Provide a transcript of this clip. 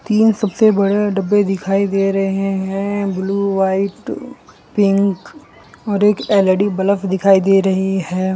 तीन सबसे बड़े डब्बे दिखाई दे रहे हैं ब्लू व्हाइट पिंक और एक एल_इ_डी बलफ दिखाई दे रही है।